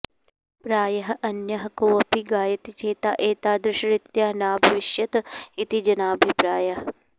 प्रायः अन्यः कोऽपि गायति चेत् एतादृशरीत्या नाभविष्यत् इति जनाभिप्रायः